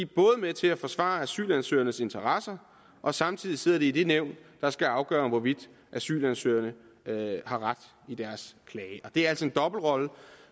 både med til at forsvare asylansøgernes interesser og samtidig sidder de i det nævn der skal afgøre hvorvidt asylansøgerne har ret i deres klage det er altså en dobbeltrolle